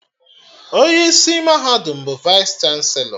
Onye isi mahadum bụ Vaịs chanselọ